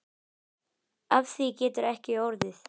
Af því getur ekki orðið.